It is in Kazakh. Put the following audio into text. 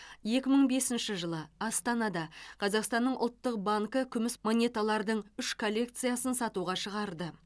екі мың бесінші жылы астанада қазақстанның ұлттық банкі күміс монеталардың үш коллекциясын сатуға шығарды